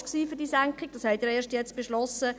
Das haben Sie ja erst jetzt beschlossen.